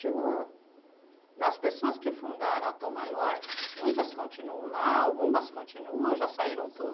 Chega uma... Das pessoas que fundaram a Tom Maior, muitas continuam lá, algumas continuam ou já saíram